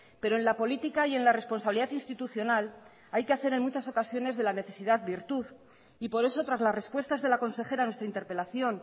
pero en la política y en la responsabilidad institucional hay que hacer en muchas ocasiones de la necesidad virtud y por eso tras las respuestas de la consejera a nuestra interpelación